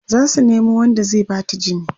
zasu Nemo Wanda zai Bata jini